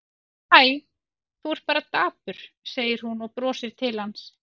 Hæ, þú ert bara dapur, segir hún og brosir til hans.